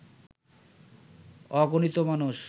অগুনতি মানুষ